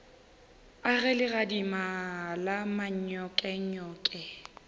a ge legadima la manyokenyoke